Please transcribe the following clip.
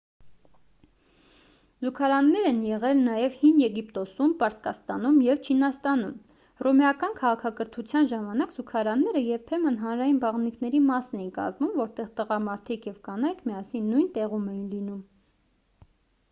զուգարաններ են եղել նաև հին եգիպտոսում պարսկաստանում և չինաստանում հռոմեական քաղաքակրթության ժամանակ զուգարանները երբեմն հանրային բաղնիքների մասն էին կազմում որտեղ տղամարդիկ և կանայք միասին նույն տեղում էին լինում